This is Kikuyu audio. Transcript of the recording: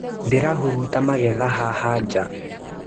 Ndĩrahuruta magetha haha jaa.